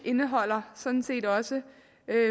indeholder sådan set også